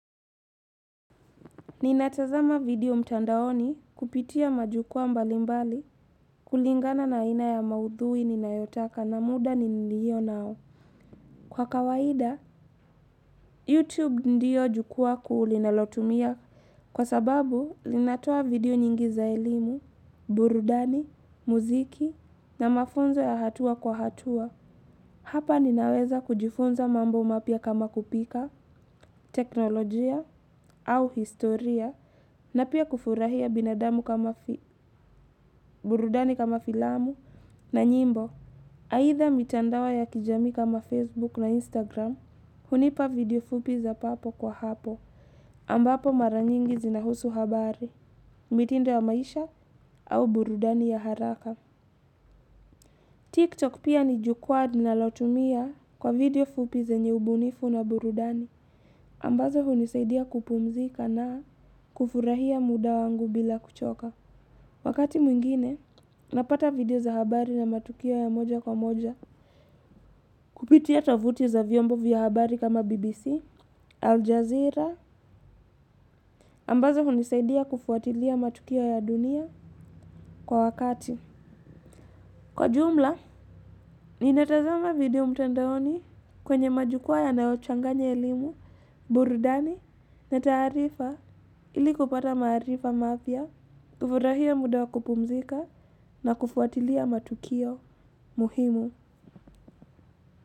Ninatazama video mtandaoni kupitia majukua mbalimbali kulingana na aina ya maudhui ninayotaka na muda nilio nao. Kwa kawaida, YouTube ndio jukua kuu linalotumia kwa sababu linatoa video nyingi za elimu, burudani, muziki na mafunzo ya hatua kwa hatua. Hapa ninaweza kujifunza mambo mapya kama kupika, teknolojia au historia na pia kufurahia binadamu kama burudani kama filamu na nyimbo. Aitha mitandao ya kijamii kama Facebook na Instagram, hunipa video fupi za papo kwa hapo ambapo maranyingi zinahusu habari, mitindo ya maisha au burudani ya haraka. TikTok pia ni jukwaa linalotumia kwa video fupi zenye ubunifu na burudani, ambazo hunisaidia kupumzika na kufurahia muda wangu bila kuchoka. Wakati mwingine, napata video za habari na matukio ya moja kwa moja kupitia tavuti za viombo vya habari kama BBC, Al Jazeera, ambazo hunisaidia kufuatilia matukio ya dunia kwa wakati. Kwa jumla, ninatazama video mtandaoni kwenye majukua yanayochanganya elimu burudani na tarifa ili kupata maarifa mapya, kufurahia muda wa kupumzika na kufuatilia matukio muhimu.